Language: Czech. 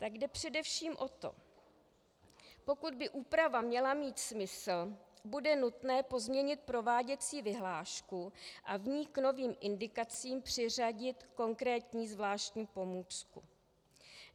Tak jde především o to, pokud by úprava měla mít smysl, bude nutné pozměnit prováděcí vyhlášku a v ní k novým indikacím přiřadit konkrétní zvláštní pomůcku.